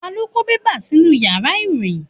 Ta lo ko bẹ́bà nínú ìyára irohin?